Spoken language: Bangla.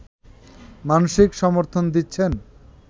মানসিক সমর্থন দিচ্ছেন